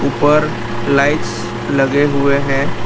ऊपर लाइट्स लगे हुए हैं।